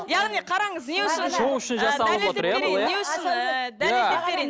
яғни қараңыз не үшін шоу үшін жасалып отыр иә бұл иә не үшін ііі дәлелдеп берейін